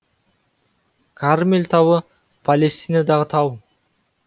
кармель тауы палестинадағы тау